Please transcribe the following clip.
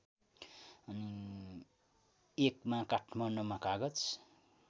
१मा काठमाडौँमा कागज